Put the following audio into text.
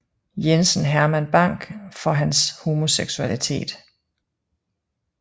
Jensen Herman Bang for hans homoseksualitet